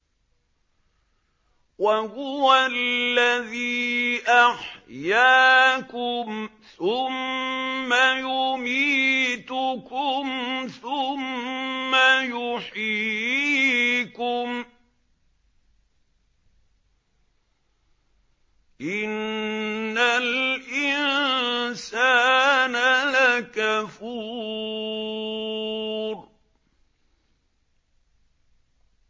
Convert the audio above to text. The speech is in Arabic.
وَهُوَ الَّذِي أَحْيَاكُمْ ثُمَّ يُمِيتُكُمْ ثُمَّ يُحْيِيكُمْ ۗ إِنَّ الْإِنسَانَ لَكَفُورٌ